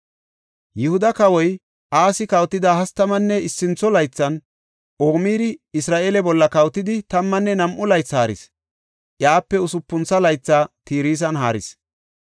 Yihuda Kawoy Asi kawotida hastamanne issintho laythan, Omiri Isra7eele bolla kawotidi tammanne nam7u laythi haaris; iyape usupun laytha Tirsan haaris.